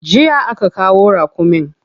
Jiya aka kawo raƙumin.